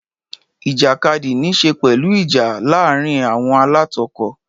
Ìjàkadì ní í ṣe pẹ̀lú ìjà ara láàárín àwọn alátakò.